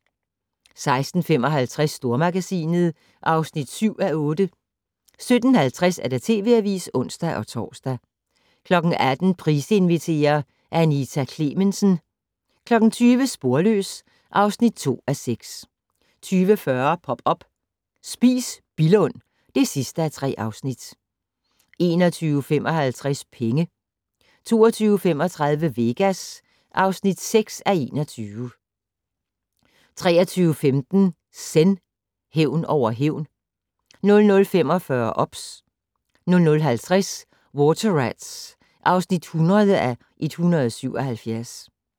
16:55: Stormagasinet (7:8) 17:50: TV Avisen (ons-tor) 18:00: Price inviterer - Anita Klemensen 20:00: Sporløs (2:6) 20:40: Pop up - Spis Billund (3:3) 21:55: Penge 22:35: Vegas (6:21) 23:15: Zen: Hævn over hævn 00:45: OBS 00:50: Water Rats (100:177)